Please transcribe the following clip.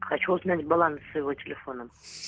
хочу узнать баланс своего телефона